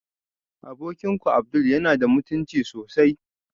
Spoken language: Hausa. Abokinku abdul yana da mutunci sosai